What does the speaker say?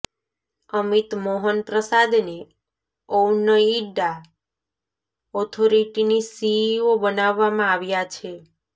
અમિત મોહન પ્રસાદને ઔનોઇડા ઓથોરિટીની સીઇઓ બનાવવામાં આવ્યા છે